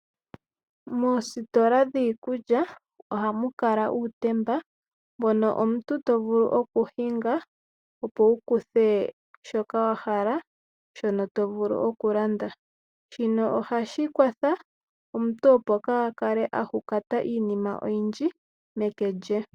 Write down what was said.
Moositola dhiikulya ohamu kala uutemba mbono omuntu to vulu okuhinga, opo wu kuthe shoka wa hala, shono to vulu okulanda. Shino ohashi kwatha omuntu opo kaa kale a papata iinima oyindji meke lye.